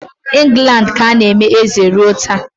England ka na-eme eze ruo taa.